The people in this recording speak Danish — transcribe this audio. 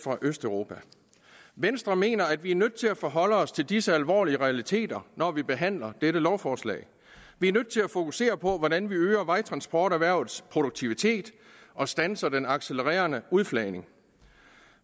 østeuropa venstre mener at vi er nødt til at forholde os til disse alvorlige realiteter når vi behandler dette lovforslag vi er nødt til at fokusere på hvordan vi øger vejtransporterhvervets produktivitet og standser den accelererende udflagning